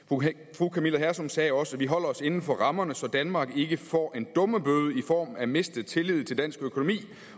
fru camilla hersom sagde også at vi holder os inden for rammerne så danmark ikke får en dummebøde i form af mistet tillid til dansk økonomi